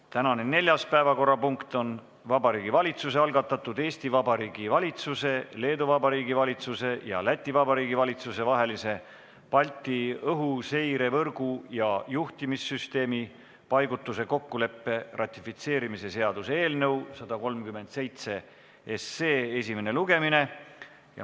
Tänane neljas päevakorrapunkt on Vabariigi Valitsuse algatatud Eesti Vabariigi valitsuse, Leedu Vabariigi valitsuse ja Läti Vabariigi valitsuse vahelise Balti õhuseirevõrgu ja juhtimissüsteemi paigutuse kokkuleppe ratifitseerimise seaduse eelnõu 137 esimene lugemine.